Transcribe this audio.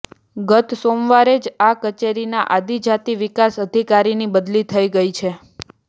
ગત સોમવારે જ આ કચેરીના આદિજાતિ વિકાસ અધિકારીની બદલી થઈ ગઈ છે